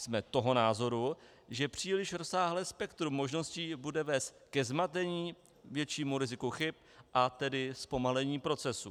Jsme toho názoru, že příliš rozsáhlé spektrum možností bude vést ke zmatení, většímu riziku chyb, a tedy zpomalení procesu.